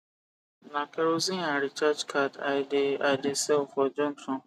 na kerosene and recharge card i de i de sell for junction